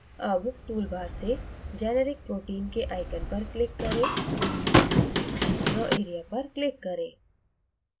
अब toolbar से generic protein के icon पर click करें draw area पर click करें